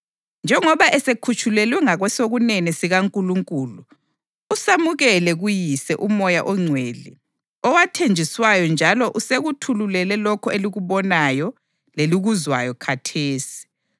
Njengoba esekhutshulelwe ngakwesokunene sikaNkulunkulu, usamukele kuYise uMoya oNgcwele owathenjiswayo njalo usekuthulule lokho elikubonayo lelikuzwayo khathesi.